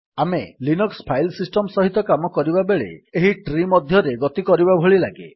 ଆମେ Linux file system ସହିତ କାମ କରିବାବେଳେ ଏହି ଟ୍ରୀ ମଧ୍ୟରେ ଗତି କରିବା ଭଳି ଲାଗେ